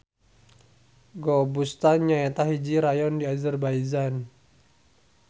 Gobustan nyaeta hiji rayon di Azerbaijan.